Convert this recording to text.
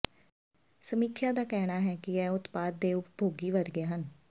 ਸਮੀਖਿਆ ਦਾ ਕਹਿਣਾ ਹੈ ਕਿ ਇਹ ਉਤਪਾਦ ਦੇ ਉਪਭੋਗੀ ਵਰਗੇ ਹਨ